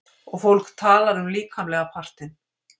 Og fólk talar um líkamlega partinn.